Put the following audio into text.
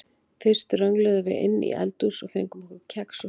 Fyrst röngluðum við inn í eldhús og fengum okkur kex og safa.